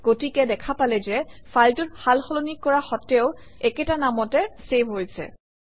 গতিকে দেখা পালে যে ফাইলটোত সালসলনি কৰা সত্ত্বেও একেটা নামতে চেভ হৈছে